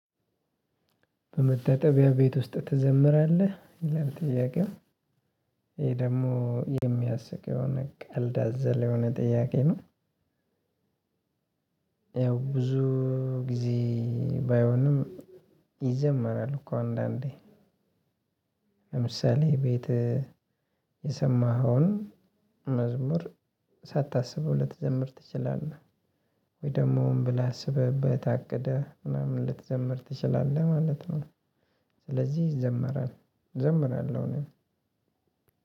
በመታጠቢያ ቤት ውስጥ ትዘምራለህ ይላል ጥያቄው ይሄ ደግሞ የሚያስቅ የሆነ ቀልድ አዘል የሆነ ጥያቄ ነው። ያው ብዙ ጊዜ ባይሆንም ይዘመራል እኮ አንዳንዴ ለምሳሌ ቤት የሰማኸውን መዝሙር ሳታስብ ልትዘምር ትችላለህ ወይ ደግሞ ሆን ብለህ አስበህበት አቅደህ ምናምን ልትዘምር ትችላለህ ማለት ነው። ስለዚህ ይዘመራል እዘምራለሁ እኔ